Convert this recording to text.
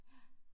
Ja